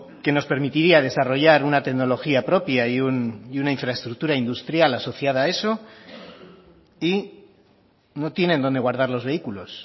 que nos permitiría desarrollar una tecnología propia y una infraestructura industrial asociada a eso y no tienen donde guardar los vehículos